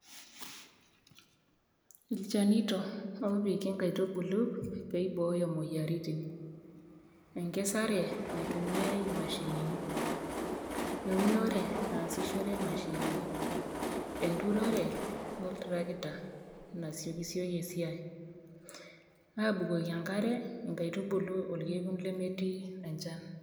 Ilchanito opiki nkaitubulu peibooyo moyiaritin, enkisare naitumiaai imashinini l,eunore nasishoreki mashinini, enturore oltarakita peitasioyo esiai ,abukoki enkare nkaitubulu orkekun lemetii enchan.